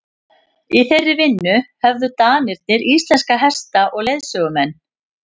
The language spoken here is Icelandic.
í þeirri vinnu höfðu danirnir íslenska hesta og leiðsögumenn